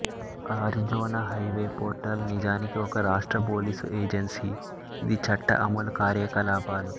Arizona highway patrol నిజానికి ఒక రాష్ట్ర పోలీసు ఏజెన్సీ ఇది చట్ట అమలు కార్యకలాపాలు